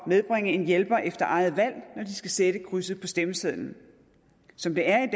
medbringe en hjælper efter eget valg når de skal sætte krydset på stemmesedlen som det er